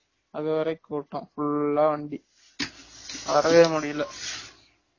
அது வரைக்கும் கூட்டம் full ஆ வண்டி வரவே முடியல